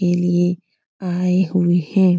के लिए आये हुए है।